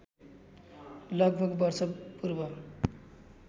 लगभग वर्ष पूर्व